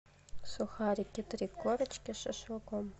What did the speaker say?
сухарики три корочки с шашлыком